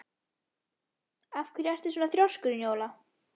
Af hverju ertu svona þrjóskur, Njóla?